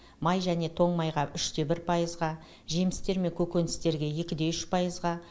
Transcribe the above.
май және тоң майға үште бір пайызға жемістер мен көкөністерге екі де үш пайызға